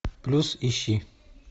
плюс ищи